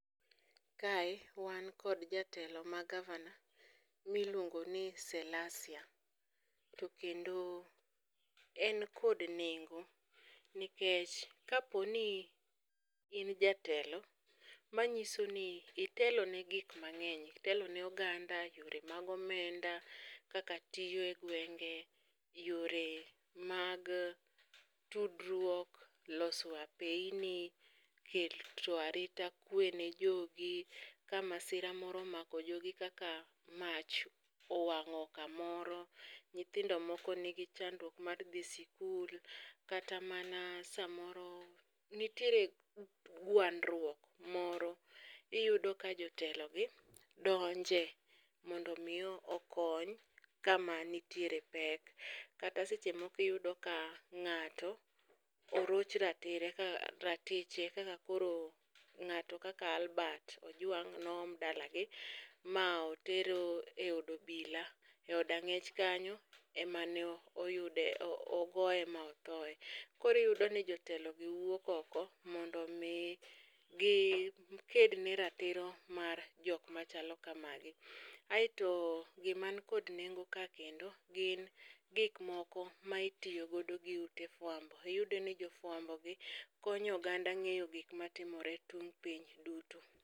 Kae wan kod jatelo ma gavana miluongo ni Selasia, to kendo en kod nengo. Nikech kaponi in jatelo, manyiso ni itelo ne gik mang'eny, itelo ne oganda, yore mag omenda kaka tiyo e gwenge. Yore mag tudruok, loso apeyni, keto arita kwe ne jogi. Ka masira omako jogi kaka mach owang'o kamoro, nyithindo moko nigi chandruok mar dhi sikul. Kata mana samoro nitiere gwandruok moro, iyudo ka jotelo gi donje, mondo mi okony kama nitiere pek. Kata seche moko iyudo ka ng'ato oroch ratire ratiche kaka koro ng'ato kaka Albert Ojwang' noom dalagi ma oter e od obila, e od ang'ech kanyo. Emane oyude ogoye ma othoye, koriyudo ni jotelo gi wuok oko mondo mi gi ked ne ratiro mar jok machalo kamagi. Aeto giman kod nengo ka kendo gin gik moko ma itiyogodo gi ute fuambo, iyudo ni jofuambo gi konyo oganda ng'eyo gik matimore tung' piny duto.